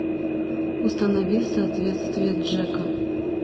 установи соответствие джека